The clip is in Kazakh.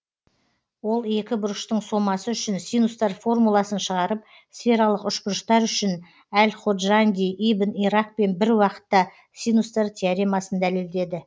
ол екі бұрыштың сомасы үшін синустар формуласын шығарып сфералық үшбұрыштар үшін әл ходжанди ибн иракпен бір уақытта синустар теоремасын дәлелдеді